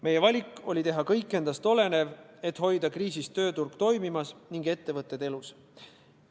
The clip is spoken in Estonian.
Meie valik oli teha kõik endast olenev, et hoida kriisiajal tööturg toimimas ning ettevõtted elus.